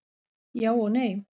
Já og nei.